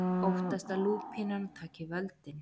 Óttast að lúpínan taki völdin